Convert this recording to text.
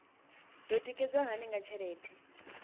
do tikedzwa hani nga tshelede